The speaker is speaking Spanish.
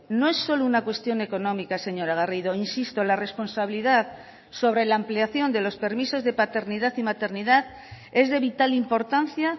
no es solo una cuestión económica señora garrido insisto la responsabilidad sobre la ampliación de los permisos de paternidad y maternidad es de vital importancia